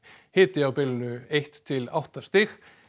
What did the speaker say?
hiti á bilinu eitt til átta stig